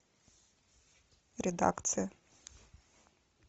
редакция